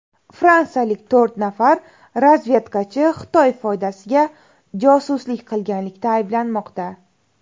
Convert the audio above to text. Fransiyalik to‘rt nafar razvedkachi Xitoy foydasiga josuslik qilganlikda ayblanmoqda.